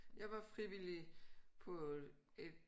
Jeg var frivillig på et